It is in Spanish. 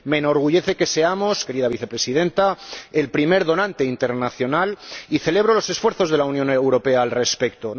Me enorgullece que seamos, querida Vicepresidenta, el primer donante internacional y celebro los esfuerzos de la Unión Europea al respecto.